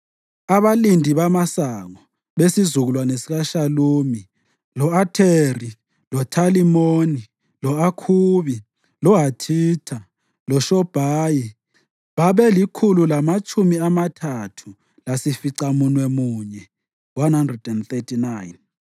Abalindi bamasango: besizukulwane sikaShalumi, lo-Atheri, loThalimoni, lo-Akhubi, loHathitha loShobhayi babelikhulu lamatshumi amathathu lasificamunwemunye (139).